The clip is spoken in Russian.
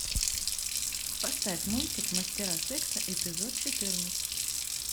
поставь мультик мастера секса эпизод четырнадцать